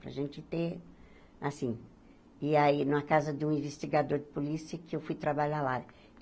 Para gente ter, assim... E aí, numa casa de um investigador de polícia, que eu fui trabalhar lá.